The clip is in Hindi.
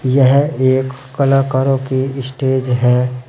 यह एक कलाकारों की स्टेज है।